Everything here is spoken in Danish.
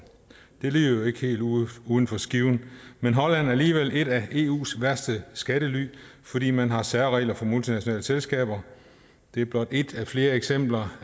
det lyder jo ikke helt uden uden for skiven men holland er alligevel et af eus værste skattely fordi man har særregler for multinationale selskaber det er blot et af flere eksempler